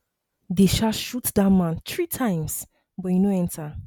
dey um shoot dat man tree times but e no enter